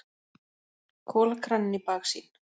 Kolakraninn í baksýn.